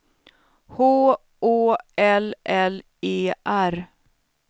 H Å L L E R